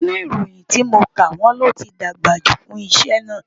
Nínú ìròyìn tí mo kà, wọ́n ní ó ti dàgbà jù fún iṣẹ́ náà